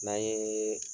N'an ye